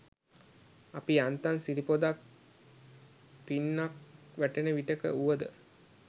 අපි යාන්තම් සිරි පොදක් පින්නක් වැටෙන විටක වුවද